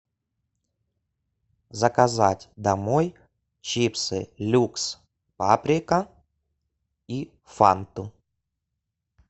заказать домой чипсы люкс паприка и фанту